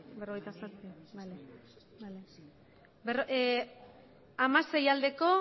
bai hamasei ez